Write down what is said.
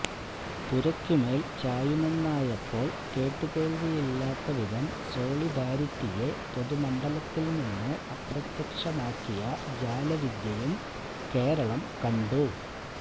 പുരക്കുമേല് ചായുമെന്നായപ്പോള് കേട്ടുകേള്വിയില്ലാത്ത വിധം സോളിഡാരിറ്റിയെ പൊതുമണ്ഡലത്തില് നിന്ന് അപ്രത്യക്ഷമാക്കിയ ജാലവിദ്യയും കേരളം കണ്ടു